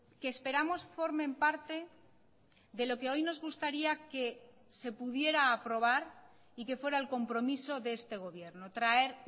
que esperamos formen parte de lo que hoy nos gustaría que se pudiera aprobar y que fuera el compromiso de este gobierno traer